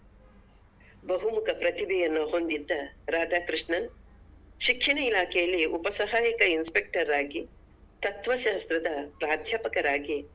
ಬಹುಮುಖ ಪ್ರತಿಭೆಯನ್ನು ಹೊಂದಿದ್ದ ರಾಧಾಕೃಷ್ಣನ್ ಶಿಕ್ಷಣ ಇಲಾಖೆಯಲ್ಲಿ ಉಪಸಹಾಯಕ inspector ಆಗಿ ತತ್ವಶಾಸ್ತ್ರದ ಪ್ರಾಧ್ಯಾಪಕರಾಗಿ.